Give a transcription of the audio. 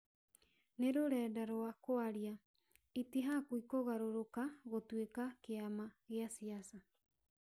"Nĩ rũrenda rwa kwaria, itihakwi kũgarũka gutuĩka kĩama gĩa siasa